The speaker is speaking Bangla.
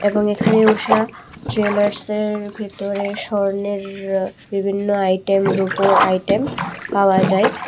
এবং এখানে ঊষা জুয়েলার্সের ভেতরে স্বর্ণের বিভিন্ন আইটেম রুপোর আইটেম পাওয়া যায়।